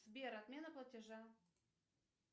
сбер отмена платежа